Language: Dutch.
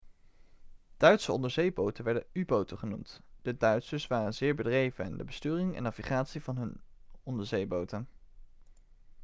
duitse onderzeeboten werden u-boten genoemd de duitsers waren zeer bedreven in de besturing en navigatie van hun onderzeeboten